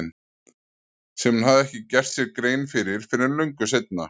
Sem hún hafði ekki gert sér grein fyrir fyrr en löngu seinna.